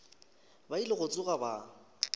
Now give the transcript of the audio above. ba ile go tsoga ba